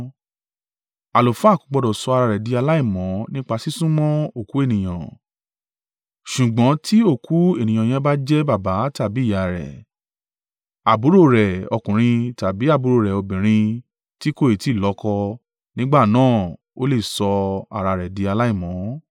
“ ‘Àlùfáà kò gbọdọ̀ sọ ara rẹ̀ di aláìmọ́ nípa sísún mọ́ òkú ènìyàn; ṣùgbọ́n ti òkú ènìyàn yẹn bá jẹ́ baba tàbí ìyá rẹ̀, àbúrò rẹ̀ ọkùnrin tàbí àbúrò rẹ̀ obìnrin ti kò i ti lọ́kọ, nígbà náà o le sọ ara rẹ̀ di aláìmọ́.